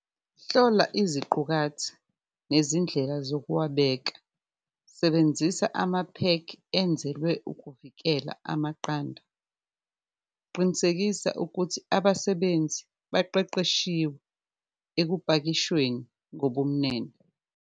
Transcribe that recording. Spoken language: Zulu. Hlola iziqukathi nezindlela zokwabeka, sebenzisa amaphekhi enzelwe ukuvikela amaqanda, qinisekisa ukuthi abasebenzi baqeqeshiwe ekupakishweni ngobumnene.